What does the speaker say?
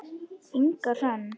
Inga Hrönn.